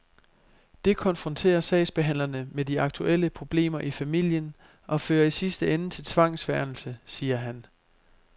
Det konfronterer sagsbehandlerne med de aktuelle problemer i familien og fører i sidste ende til tvangsfjernelse, siger han.